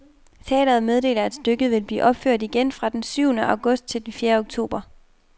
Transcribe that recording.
Teatret meddeler, at stykket vil blive opført igen fra den tyvende august til den fjerde oktober.